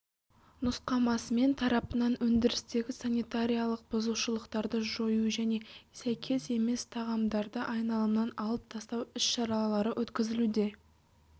нұсқамасымен тарапынан өндірістегі санитариялық бұзушылықтарды жою және сәйкес емес тағамдарды айналымнан алып тастау іс-шаралары өткізілуде